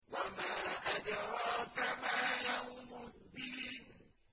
وَمَا أَدْرَاكَ مَا يَوْمُ الدِّينِ